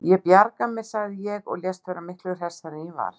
Ég bjarga mér, sagði ég og lést vera miklu hressari en ég var.